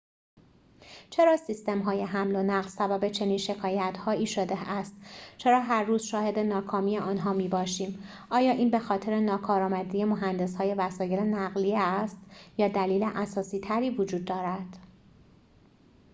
چرا سیستم‌های حمل و نقل سبب چنین شکایت‌هایی شده است چرا هر روز شاهد ناکامی آنها می‌باشیم آیا این بخاطر ناکارامدی مهندس‌های وسایل نقلیه است یا دلیل اساسی‌تری وجود دارد